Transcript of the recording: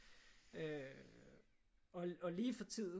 Øh og lige for tiden